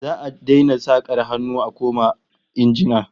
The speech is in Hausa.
Za'a daina sakar hannu a koma injina